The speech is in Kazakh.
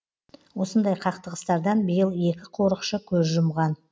осындай қақтығыстардан биыл екі қорықшы көз жұмған